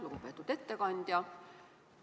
Lugupeetud ettekandja!